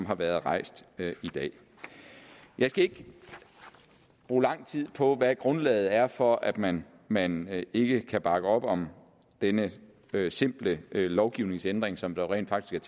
har været rejst i dag jeg skal ikke bruge lang tid på hvad grundlaget er for at man man ikke kan bakke op om denne simple lovgivningsændring som der rent faktisk